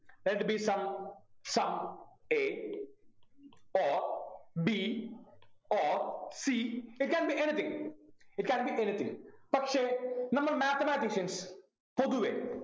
let it be some someA or B or Cit can be anything it can be anything പക്ഷെ നമ്മള് mathematicians പൊതുവെ